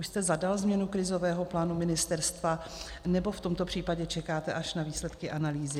Už jste zadal změnu krizového plánu ministerstva, nebo v tomto případě čekáte až na výsledky analýzy?